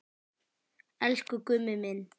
Elsku Gummi minn.